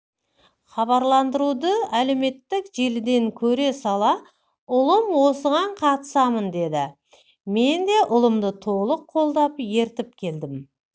хабарландыруды әлеуметтік желіден көре сала ұлым осыған қатысамын деді мен де ұлымды толық қолдап ертіп келдім